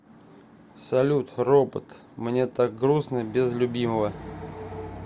салют робот мне так грустно без любимого